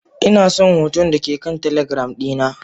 Inason hoton dake kan telegram dina.